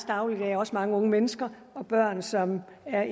dagligdag også mange unge mennesker og børn som er